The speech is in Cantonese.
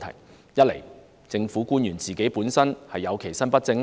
第一，政府官員其身不正。